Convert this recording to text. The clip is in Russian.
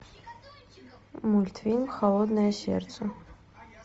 мультфильм холодное сердце